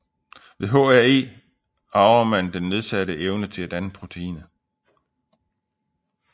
Ved HAE arver man den nedsatte evne til at danne proteinet